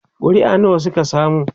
ƙuri'a nawa Suka samu?